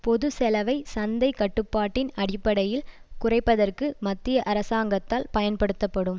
பொது செலவை சந்தை கட்டுப்பாட்டின் அடிப்படையில் குறைப்பதற்கு மத்திய அரசாங்கத்தால் பயன்படுத்தப்படும்